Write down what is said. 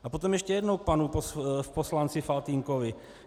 A potom ještě jednou k panu poslanci Faltýnkovi.